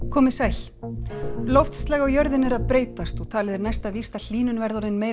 komiði sæl loftslag á jörðinni er að breytast og talið er næsta víst að hlýnun verði orðin meiri